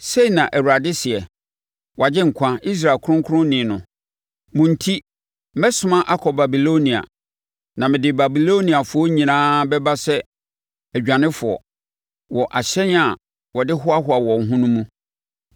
Sei na Awurade seɛ, wʼAgyenkwa, Israel Kronkronni no: “Mo enti, mɛsoma akɔ Babilonia, na mede Babiloniafoɔ nyinaa bɛba sɛ adwanefoɔ, wɔ ahyɛn a wɔde hoahoa wɔn ho no mu.